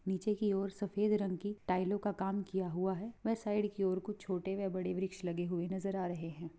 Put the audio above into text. नीचे की और सफ़ेद रंग की टाइलों का काम किया हुआ है वे साइड की और कुछ छोटे वे बड़े वृक्ष लगे हुए नजर आ रहे हैं।